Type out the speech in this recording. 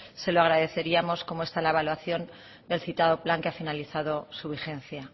se lo agradeceríamos cómo está la evaluación del citado plan que ha finalizado su vigencia